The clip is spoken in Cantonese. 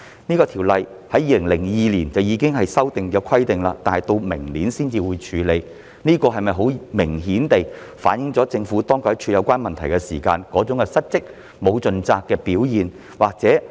有關《公約》在2002年已作修訂，但直至明年才會處理，這是否明顯反映了當局在處理有關問題時失責和沒有盡責？